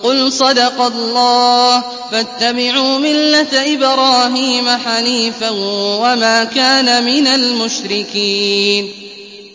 قُلْ صَدَقَ اللَّهُ ۗ فَاتَّبِعُوا مِلَّةَ إِبْرَاهِيمَ حَنِيفًا وَمَا كَانَ مِنَ الْمُشْرِكِينَ